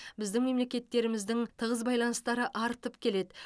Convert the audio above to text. біздің мемлекеттеріміздің тығыз байланыстары артып келеді